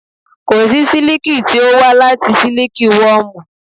Kòsí sílíkì tí ó wá láti Siliki wọmu.